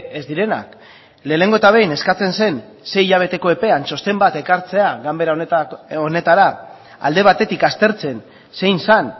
ez direnak lehenengo eta behin eskatzen zen sei hilabeteko epean txosten bat ekartzea ganbera honetara alde batetik aztertzen zein zen